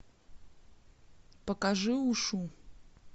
покажи ушу